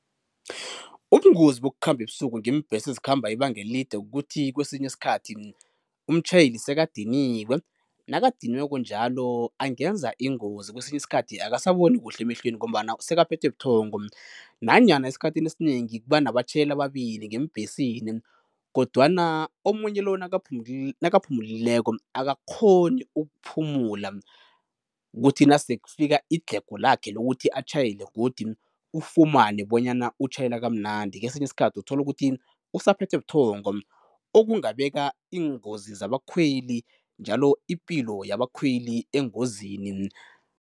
Ubungozi bokukhamba ebusuku ngeembhesi ezikhamba ibanga elide kukuthi kwesinye isikhathi umtjhayeli sekadiniwe, nakadiniweko njalo angenza ingozi kwesinye isikhathi akasaboni kuhle emehlweni ngombana sekaphethwe buthongo. Nanyana esikhathini esinengi kuba nabatjhayeli ababili ngeembhesini kodwana omunye lo nakaphumulileko akakghoni ukuphumula, kuthi nasekufika idlhego lakhe lokuthi atjhayele godi ufumane bonyana utjhayela kamnandi kesinye isikhathi uthole ukuthi usaphethwe buthongo okungabeka iingozi zabakhweli njalo ipilo yabakhweli engozini.